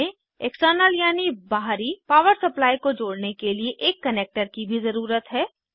हमें एक्सटर्नल यानि बहरी पावर सप्लाई को जोड़ने के लिए एक कनेक्टर की भी ज़रुरत है